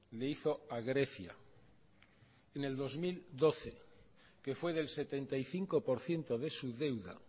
le hizo a grecia en el dos mil doce que fue del setenta y cinco por ciento de su deuda